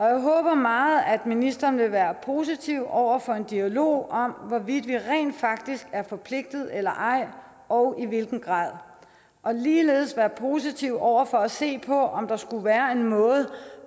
jeg håber meget at ministeren vil være positiv over for en dialog om hvorvidt vi rent faktisk er forpligtet eller ej og i hvilken grad og ligeledes være positiv over for at se på om der skulle være en måde